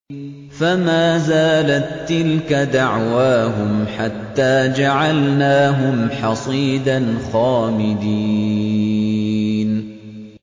فَمَا زَالَت تِّلْكَ دَعْوَاهُمْ حَتَّىٰ جَعَلْنَاهُمْ حَصِيدًا خَامِدِينَ